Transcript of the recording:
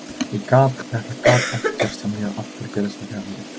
Ég gat, þetta gat ekki gerst hjá mér, af hverju gerðist þetta hjá mér?